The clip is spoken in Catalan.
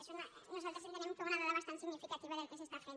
és una dada nosaltres entenem que bastant significativa del que s’està fent